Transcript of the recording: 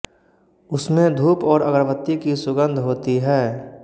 उसमें धूप और अगरबत्ती की सुगंध होती है